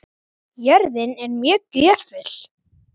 Jörðin er mjög gjöful.